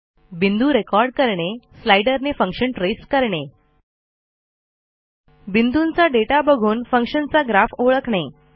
बिंदू रेकॉर्ड करणे स्लाइडर ने फंक्शन ट्रेस करणे बिंदूंचा दाता बघून फंक्शन चा ग्राफ ओळखणे